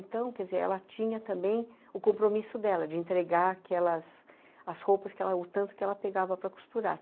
Então, quer dizer, ela tinha também o compromisso dela de entregar aquelas... as roupas que ela... o tanto que ela pegava para costurar.